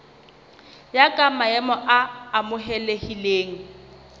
ya ka maemo a amohelehileng